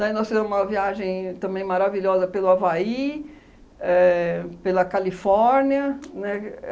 Daí nós fizemos uma viagem também maravilhosa pelo Havaí, éh pela Califórnia, né, que